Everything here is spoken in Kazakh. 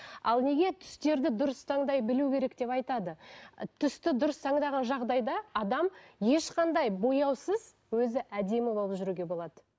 ал неге түстерді дұрыс таңдай білу керек деп айтады түсті дұрыс таңдаған жағдайда адам ешқандай бояусыз өзі әдемі болып жүруге болады